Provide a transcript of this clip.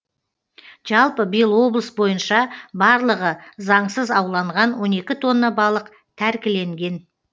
жалпы биыл облыс бойынша барлығы заңсыз ауланған он екі тонна балық тәркіленген